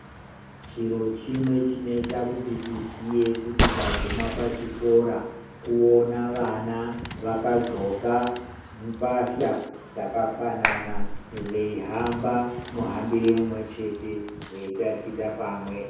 Chiro chimwe chinota kuti tiziye kuti taguma pachikora kuona vana vakadhloka mbatya dzakafanana. Veihamba muhambire mumwe chete veitachita pamwe.